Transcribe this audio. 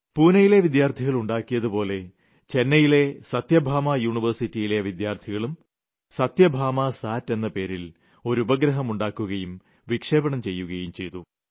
പൂനെയിലെ വിദ്യാർത്ഥികൾ ഉണ്ടാക്കിയതുപോലെ ചെന്നൈയിലെ സത്യഭാമ യൂണിവേഴ്സിറ്റിയിലെ വിദ്യാർത്ഥികളും സത്യഭാമ സാറ്റ് എന്ന പേരിൽ ഒരു ഉപഗ്രഹം നിർമ്മിക്കുകയും വിക്ഷേപിക്കുകയും ചെയ്തു